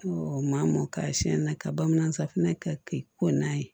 u maa mɔn ka siɲɛ na ka bamanan safinɛ kɛ ko n'a ye